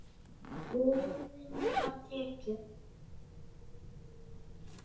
Boðinu var tekið.